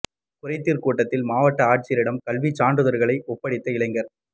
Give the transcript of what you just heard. குறைதீா் கூட்டத்தில் மாவட்ட ஆட்சியரிடம் கல்விச் சான்றிதழ்களை ஒப்படைத்த இளைஞா்